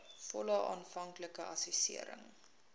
volle aanvanklike assessering